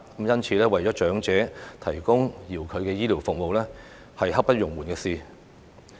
因此，為長者提供遙距的醫療服務是刻不容緩的事。